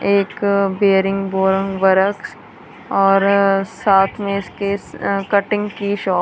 एक bearing boring works और साथ में इसके कटिंग की शॉप।